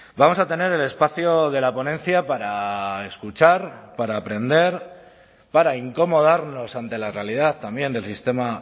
vamos a tener el espacio de la ponencia para escuchar para aprender para incomodarnos ante la realidad también del sistema